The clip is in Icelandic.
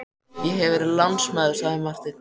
Ég hef verið lánsamur, sagði Marteinn.